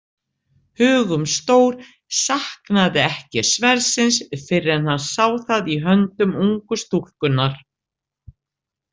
Hugumstór saknaði ekki sverðsins fyrr en hann sá það í höndum ungu stúlkunnar.